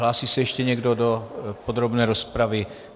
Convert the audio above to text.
Hlásí se ještě někdo do podrobné rozpravy?